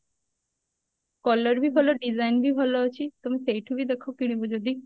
colour ବି ଭଲ design ବି ଭଲ ଅଛି ତମେ ସେଇଠୁ ବି ଦେଖ କିଣିବ ଯଦି